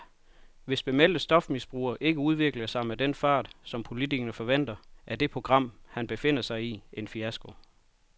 Hvis bemeldte stofmisbrugere ikke udvikler sig med den fart, som politikerne forventer, er det program, han befinder sig i, en fiasko.